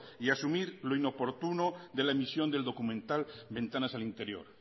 y asumir lo inoportuno de la emisión del documental ventanas al interior